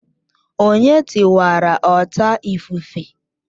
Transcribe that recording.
Onye tiwara ọta ifufe?